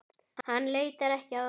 Hann leitar ekki að orðum.